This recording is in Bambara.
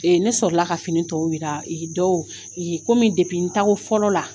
Ee ne sɔrɔla ka fini tɔw yira ee dɔw e komi depi n taa ko fɔlɔ la